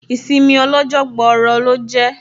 Ìsinmi ọ lọ́jọ́ gbọọrọ lọ jẹ́